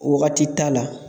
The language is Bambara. Wagati t'a la